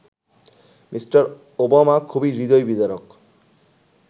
Me. Obama খুবই হৃদয়বিদারক